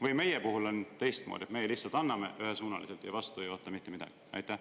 Või on meie puhul teistmoodi – meie lihtsalt anname ühesuunaliselt ja vastu ei oota mitte midagi?